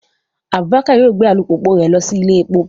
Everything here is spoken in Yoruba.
Abubakar yoo gbe alupupu rẹ lọ si ile epo